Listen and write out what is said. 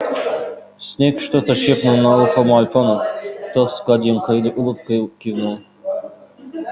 снегг что-то шепнул на ухо малфою тот с гаденькой улыбкой кивнул